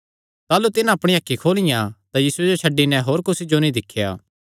ताह़लू तिन्हां अपणियां अखीं खोलियां तां यीशुये जो छड्डी नैं होर कुसी जो नीं दिख्या